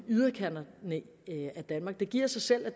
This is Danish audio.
danmark det giver sig selv at